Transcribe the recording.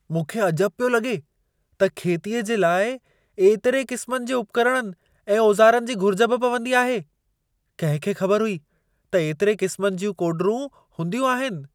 मूंखे अजबु पियो लॻे त खेतीअ जे लाइ एतिरे क़िस्मनि जे उपकरणनि ऐं औज़ारनि जी घुरिज बि पवंदी आहे! कहिं खे ख़बरु हुई त एतिरे क़िस्मनि जूं कोड॒रूं हूंदियूं आहिनि।